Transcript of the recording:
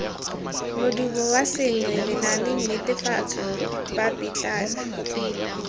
modumo wa sengwe lenaanenetefatso papetlana